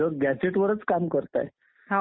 फक्त पुरुषांना असायचा